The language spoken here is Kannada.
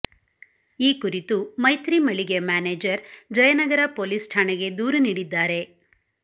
ಈ ಕುರಿತು ಮೈತ್ರಿ ಮಳಿಗೆಯ ಮ್ಯಾನೇಜರ್ ಜಯನಗರ ಪೊಲೀಸ್ ಠಾಣೆಗೆ ದೂರು ನೀಡಿದ್ದಾರೆ